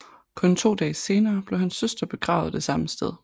Kun to dage senere blev hans søster begravet det samme sted